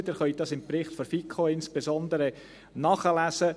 Sie können dies insbesondere im Bericht der FiKo nachlesen.